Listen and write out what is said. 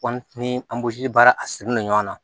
Kɔmi ni anburu baara a sirilen don ɲɔgɔn na